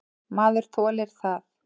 Maður þolir það.